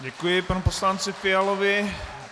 Děkuji panu poslanci Fialovi.